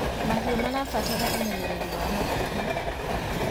mahiũ marabatara umenyereri wa hakuhi